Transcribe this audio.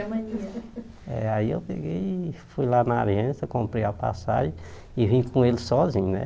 É aí eu peguei e fui lá na aliança, comprei a passagem e vim com ele sozinho, né?